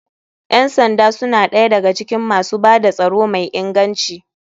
Ƴan sanda suna ɗaya da ga cikin masu bada tsaro mai inganci.